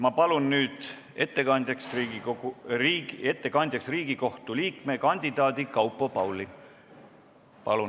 Ma palun nüüd kõnetooli Riigikohtu liikme kandidaadi Kaupo Paali!